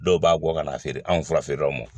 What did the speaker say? Dɔw b'a bɔ ka n'a feere anw furafeerelaw ma